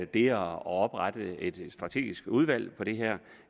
det at oprette et strategisk udvalg for det her